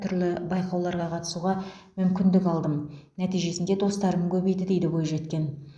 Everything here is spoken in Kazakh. түрлі байқауларға қатысуға мүмкіндік алдым нәтижесінде достарым көбейді дейді бойжеткен